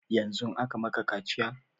Yanzun aka maka kaciya?